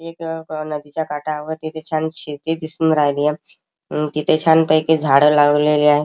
एक नदीच्या काठावरती तिथे छान शेती दिसून राहिली तिथे छान पैकी झाडं लावलेली आहे.